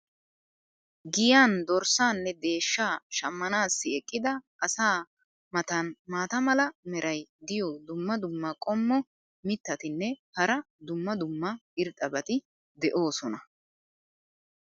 giyan dorssaanne deeshshaa shammanaassi eqqida asaa matan maata mala meray diyo dumma dumma qommo mitattinne hara dumma dumma irxxabati de'oosona.